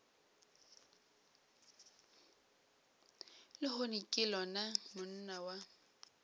lehono ke lona monna wa